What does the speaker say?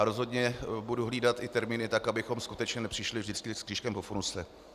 A rozhodně budu hlídat i termíny tak, abychom skutečně nepřišli vždycky s křížkem po funuse.